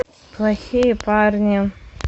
плохие парни